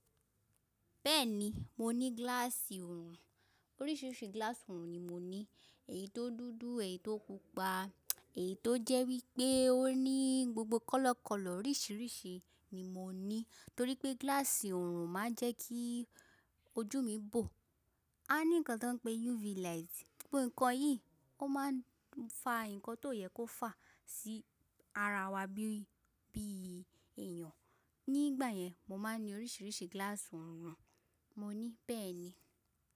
Bẹ́ẹ̀ni, mo ní gíláàsì òrùn. Oríṣiríṣi gíláàsì ọ̀rùn ni mo ní. Èyí tó dúdú, èyí tó pupa, èyí tó jẹ́ wípé ó ní gbogbo kọ́lọ́kọ́lọ́ oríṣiríṣi ni mo ní. Torí pé gíláàsì òrùn máa ń jẹ́ kí ojú mi bò. A ní nǹkan tó ń pe UV light, gbogbo nǹkan yìí ó máa ń fa nǹkan tó yẹ kó fà sí ara wa bí, bí èèyàn. Nígbà yẹn mo máa ń ní oríṣiríṣi gíláàsì òrùn. Mo ní bẹ́ẹ̀ ni.